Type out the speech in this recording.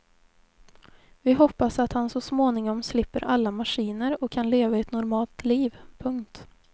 Vi hoppas att han så småningom slipper alla maskiner och kan leva ett normalt liv. punkt